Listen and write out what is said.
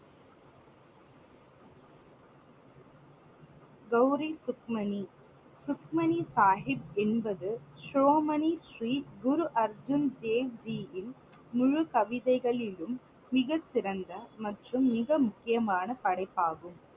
கௌரி சுக்மணி. சுக்மணி சாகிப் என்பது சிரோமணி ஸ்ரீ குரு அர்ஜுன் தேவ் ஜி யின் முழு கவிதைகளிலும் மிகச்சிறந்த மற்றும் மிக முக்கியமான படைப்பாகும்.